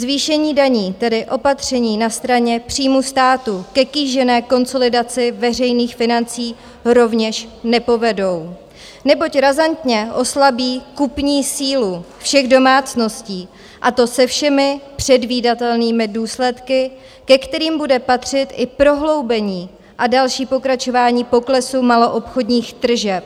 Zvýšení daní, tedy opatření na straně příjmů států ke kýžené konsolidaci veřejných financí rovněž nepovedou, neboť razantně oslabí kupní sílu všech domácností, a to se všemi předvídatelnými důsledky, ke kterým bude patřit i prohloubení a další pokračování poklesu maloobchodních tržeb.